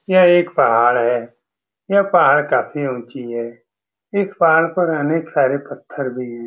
यह एक पहाड़ है यह पहाड़ काफी उची है इस पहाड़ पे अनेक सारे पत्थर भी --